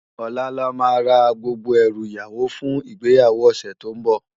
Òlá làmá lò rá gbógbó èrú iyáwó fún igbéyáwó òsè tó n bò